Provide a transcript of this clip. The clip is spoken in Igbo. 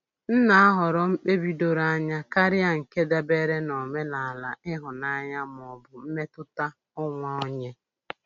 M na-ahọrọ mkpebi doro anya karịa nke dabere n'omenala ihunanya ma ọ bụ mmetụta onwe onye.